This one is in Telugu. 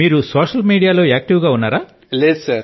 మీరు సోశల్ మీడియా లో క్రియాశీలం గా ఉన్నారా